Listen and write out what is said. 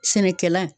Sɛnɛkɛla